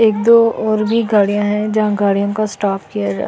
एक दो और भी गाड़ियां हैं जहाँ गाड़ियों का स्टाफ किया है।